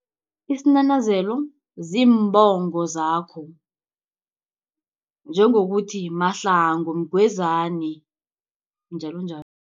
Isinanazelo ziimbongo zakho, njengokuthi Mahlangu Mgwezani njalonjalo.